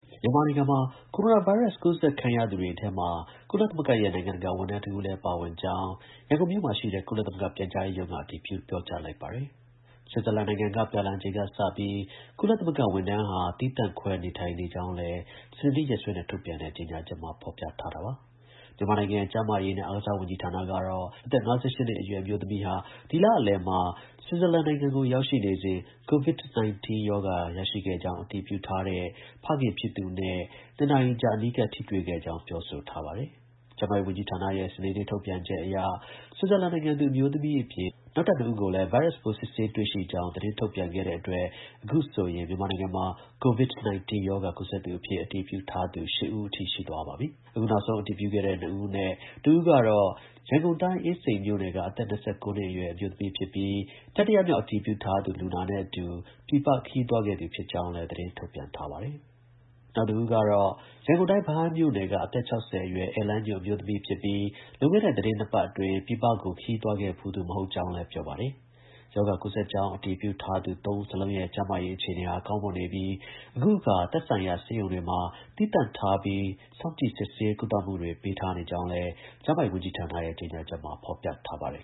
မြန်မာနိုင်ငံမှာ ကိုရိုနာဗိုင်းရပ်စ် ကူးစက်ခံရသူတွေထဲမှာ ကုလသမဂ္ဂရဲ့ နိုင်ငံတကာ ဝန်ထမ်းတဦးလည်း ပါဝင်ကြောင်း ရန်ကုန်မြို့မှာရှိတဲ့ ကုလသမဂ္ဂ ပြန်ကြားရေးရုံးက အတည်ပြုလိုက်ပါတယ်။ ဆွစ်ဇာလန်နိုင်ငံက ပြန်လာချိန်ကစပြီး ကုလသမဂ္ဂ ဝန်ထမ်းဟာ သီးသန့်ခွဲ နေထိုင်နေကြောင်းလည်း စနေနေ့ရက်စွဲနဲ့ ထုတ်ပြန်တဲ့ ကြေညာချက်မှာ ဖော်ပြထားတာပါ။ မြန်မာနိုင်ငံ ကျန်းမာရေးနဲ့ အားကစားဝန်ကြီးဌာနကတော့ အသက် ၅၈ နှစ်အရွယ် အမျိုးသမီးဟာ ဒီလလယ်မှာတုန်းက ဆွစ်ဇာလန်နိုင်ငံကို ရောက်ရှိနေစဉ် COVID-19 ရောဂါရှိကြောင်း အတည်ပြုထားတဲ့ ဖခင်ဖြစ်သူနဲ့ ၂ နာရီကြာ အနီးကပ် ထိတွေ့ခဲ့ကြောင်း ပြောဆိုထားပါတယ်။ ကျန်းမာရေး ဝန်ကြီးဌာနရဲ့ စနေနေ့ထုတ်ပြန်ချက်အရ ဆွစ်ဇာလန်နိုင်ငံသူ အမျိုးသမီးအပြင် နောက်ထပ် ၂ ဦးကိုလည်း ဗိုင်းရပ်စ်ပိုး စစ်ဆေးတွေ့ရှိကြောင်း သတင်းထုတ်ပြန်ခဲ့တဲ့အတွက် အခုဆိုရင် မြန်မာနိုင်ငံမှာ COVID-19 ရောဂါ ကူးစက်သူအဖြစ် အတည်ပြုထားသူ ၈ ဦးအထိ ရှိသွားပါပြီ။ အခုနောက်ဆုံး အတည်ပြုခဲ့သူ ၂ ဦးအနက် တဦးကတော့ ရန်ကုန်တိုင်း အင်းစိန်မြို့နယ်က အသက် ၂၉ နှစ်အရွယ် အမျိုးသမီးဖြစ်ပြီး၊ တတိယမြောက် အတည်ပြုထားသူ လူနာနဲ့အတူ ပြည်ပခရီးသွားခဲ့သူ ဖြစ်ကြောင်းလည်း သတင်းထုတ်ပြန်ထားပါတယ်။ နောက်တဦးကတော့ ရန်ကုန်တိုင်း ဗဟန်းမြို့နယ်က အသက် ၆၀ အရွယ် ဧည့်လမ်းညွှန် အမျိုးသမီးဖြစ်ပြီး၊ လွန်ခဲ့တဲ့ သီတင်း ၂ ပတ်အတွင်း ပြည်ပကို ခရီးသွားခဲ့ဘူးသူ မဟုတ်ကြောင်းလည်း ပြောပါတယ်။ ရောဂါကူးစက်ကြောင်း အတည်ပြုထားသူ ၃ ဦး စလုံးရဲ့ ကျန်းမာရေး အခြေအနေဟာ ကောင်းမွန်နေပြီး၊ အခုအခါ သက်ဆိုင်ရာ ဆေးရုံတွေမှာ သီးသန့်ထားပြီး စောင့်ကြည့်စစ်ဆေး ကုသမှုပေးထားကြောင်းလည်း ကျန်းမာရေးဝန်ကြီးဌာနရဲ့ ကြေညာချက်မှာ ဖော်ပြထားပါတယ်